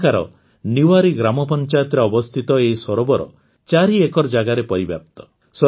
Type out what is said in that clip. ଏଠାକାର ନିୱାରୀ ଗ୍ରାମପଂଚାୟତରେ ଅବସ୍ଥିତ ଏହି ସରୋବର ୪ ଏକର ଜାଗାରେ ପରିବ୍ୟାପ୍ତ